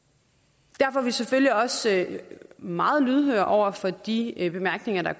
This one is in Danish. derfor er vi selvfølgelig også meget lydhøre over for de bemærkninger der